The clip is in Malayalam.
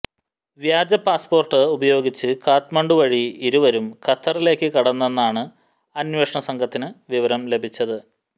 വ്യാജപാസ്പോര്ട്ട് ഉപയോഗിച്ച് കാഠ്മണ്ഡു വഴി ഇരുവരും ഖത്തറിലേക്ക് കടന്നെന്നാണ് അന്വേഷണസംഘത്തിന് വിവരം ലഭിച്ചത്